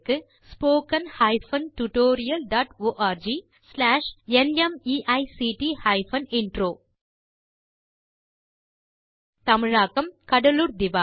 spoken hyphen tutorial dot org slash NMEICT hyphen intro தமிழில் கடலூர் திவா